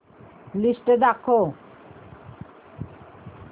list दाखव